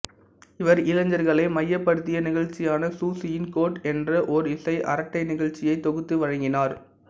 இவர் இளைஞர்களை மையப்படுத்திய நிகழ்ச்சியான சுசியின் கோட் என்ற ஒரு இசை அரட்டை நிகழ்ச்சியை தொகுத்து வழங்கினார்